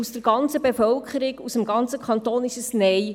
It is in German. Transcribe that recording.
Von der ganzen Bevölkerung, aus dem ganzen Kanton kam ein Nein.